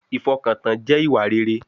Ìfọkàntán jẹ́ ìwà rere